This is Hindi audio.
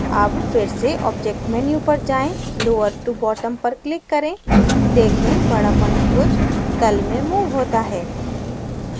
अब फिर से object menu पर जाएँ lower to bottom पर click करें देखें बडा पंचभुज तल में moved होता है